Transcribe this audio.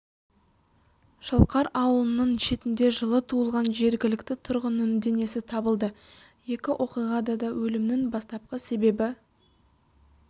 шалқар аулының шетінде жылы туылған жергілікті тұрғынның денесі табылды екі оқиғада да өлімнің бастапқы себебі